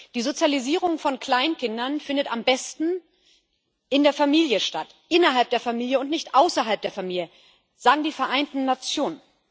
Die Sozialisierung von Kleinkindern findet am besten in der Familie statt innerhalb der Familie und nicht außerhalb der Familie, sagen die Vereinten Nationen.